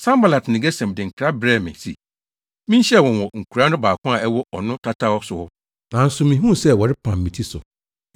Sanbalat ne Gesem de nkra brɛɛ me se, minhyia wɔn wɔ nkuraa no baako a ɛwɔ Ono tataw so hɔ. Nanso mihuu sɛ wɔrepam me ti so,